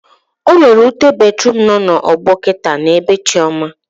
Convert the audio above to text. Ọnwere ute batruum nọ na ọgbọ kịta na bee Chioma